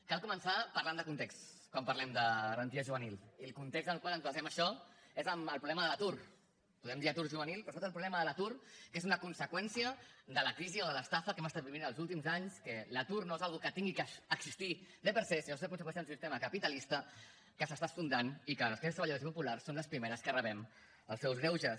cal començar parlant de context quan parlem de garantia juvenil i el context en el qual ens basem en això és el problema de l’atur podem dir atur juvenil però sobretot el problema de l’atur que és una conseqüència de la crisi o de l’estafa que hem estat vivint els últims anys que l’atur no és una cosa que hagi d’existir per se sinó que és a conseqüència d’un sistema capitalista que s’està esfondrant i que les classes treballadores i populars som les primeres que rebem els seus greuges